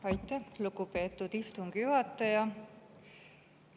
Aitäh, lugupeetud istungi juhataja!